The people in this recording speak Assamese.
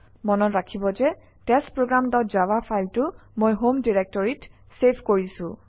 মনত ৰাখিব যে টেষ্টপ্ৰগ্ৰাম ডট জাভা ফাইলটো মই হোম ডিৰেক্টৰীত চেভ কৰিছোঁ